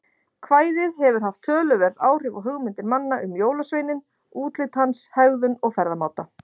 Kvæðið hefur haft töluverð áhrif á hugmyndir manna um jólasveininn, útlit hans, hegðun og ferðamáta.